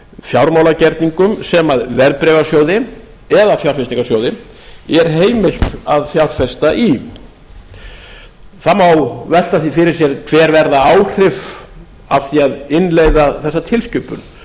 fjármálagerningum sem verðbréfasjóði eða fjárfestingarsjóði er heimilt að að fjárfesta í það má velta því fyrir sér hver verða áhrif af því að innleiða þessa tilskipun